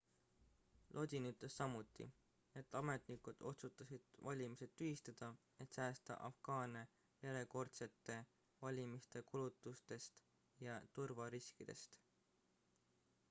lodin ütles samuti et ametnikud otsustasid valimised tühistada et säästa afgaane järjekordsete valimiste kulutustest ja turvariskidest